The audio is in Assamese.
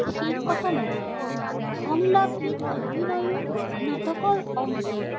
শেষ কথা নহয়। সংলাপবিহীন অভিনয়ো নাটকৰ অংগ।